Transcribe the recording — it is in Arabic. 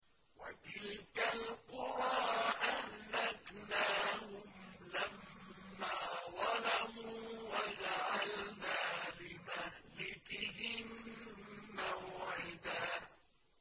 وَتِلْكَ الْقُرَىٰ أَهْلَكْنَاهُمْ لَمَّا ظَلَمُوا وَجَعَلْنَا لِمَهْلِكِهِم مَّوْعِدًا